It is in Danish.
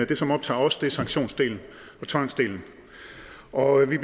det som optager os er sanktionsdelen og tvangsdelen og vi